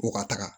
Ko ka taga